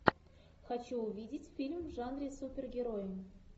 хочу увидеть фильм в жанре супергерои